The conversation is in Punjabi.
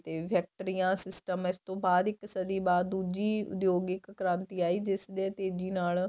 ਫ਼ੈਕਟਰੀਆਂ system ਬਾਅਦ ਇੱਕ ਸਦੀਂ ਬਾਅਦ ਦੂਜੀ ਉੱਦਯੋਗਿਕ ਕ੍ਰਾਂਤੀ ਆਈ ਜਿਸ ਦੇ ਤੀਜੀ ਨਾਲ